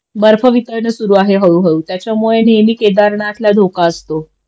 बर्फ वितळण सुरु आहे हळूहळू त्याच्यामुळे नेहमी केदारनाथला धोका असतो